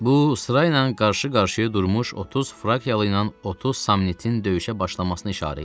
Bu sıraynan qarşı-qarşıya durmuş 30 Frakialı ilə 30 Samnitin döyüşə başlamasının işarə idi.